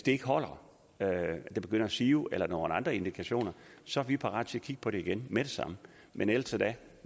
ikke holder at det begynder at sive eller nogle andre indikationer så er vi parate til at kigge på det igen med det samme men indtil da